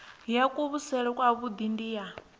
ya kuvhusele kwavhui ndi ya